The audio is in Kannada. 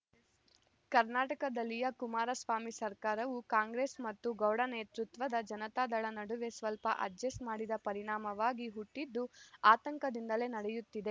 ಕರ್ನಾಟಕದಲ್ಲಿಯ ಕುಮಾರಸ್ವಾಮಿ ಸರ್ಕಾರವು ಕಾಂಗ್ರೆಸ್‌ ಮತ್ತು ಗೌಡ ನೇತೃತ್ವದ ಜನತಾದಳ ನಡುವೆ ಸ್ವಲ್ಪ ಅಡ್ಜೆಸ್ಟ್‌ ಮಾಡಿದ ಪರಿಣಾಮವಾಗಿ ಹುಟ್ಟಿದ್ದು ಆತಂಕದಿಂದಲೇ ನಡೆಯುತ್ತಿದೆ